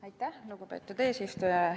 Aitäh, lugupeetud eesistuja!